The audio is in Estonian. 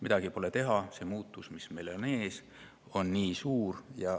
Midagi pole teha, see muutus, mis meil on ees, on nii suur.